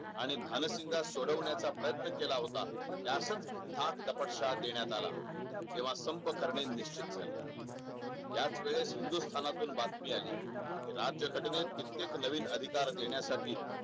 आणि भाल सिंग ला सोडवण्या चा प्रयत्न केला होता जास्त धाकदपट शहा देण्यात आला तेव्हा संपर्क करणे निश्चित झाले याच वेळेस हिंदुस्थाना तून बातमी आली राज्य घटनेत कित्येक नवीन अधिकार देण्यासाठी